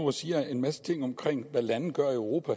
og siger en masse ting om hvad lande gør i europa